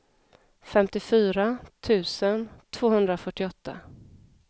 femtiofyra tusen tvåhundrafyrtioåtta